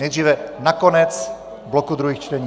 Nejdříve na konec bloku druhých čtení.